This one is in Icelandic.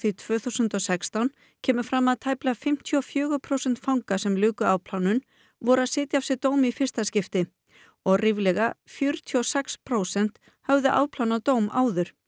tvö þúsund og sextán kemur fram að tæplega fimmtíu og fjögur prósent fanga sem luku afplánun voru að sitja af sér dóm í fyrsta skipti og ríflega fjörutíu og sex prósent höfðu afplánað dóm áður